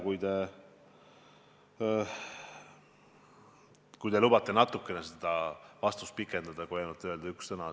Ma ei tea, vahest te lubate mul natukene seda vastust pikendada, mitte öelda ainult ühe sõna.